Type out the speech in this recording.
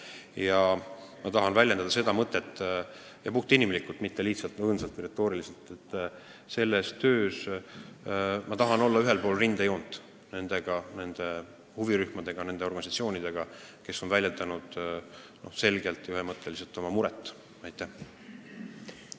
Ja ma tahan väljendada seda mõtet – puhtinimlikult, mitte õõnsalt või retooriliselt –, et selles töös ma tahan olla ühel pool rindejoont nende huvirühmadega, nende organisatsioonidega, kes on selgelt ja ühemõtteliselt oma muret väljendanud.